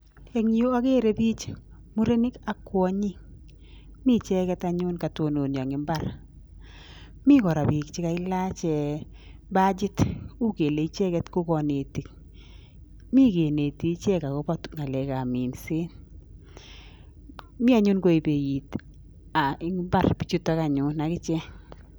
En Yu agere bik chemurenik AK kwanyik miicheken anyun katikati akokayononia en imbar mikoraa bik chekalach bachit Kou kelee icheket ko kanetik mi keneti ichek akoba ngalek ab Minet mianyun komii imbar bichuton anyun akichek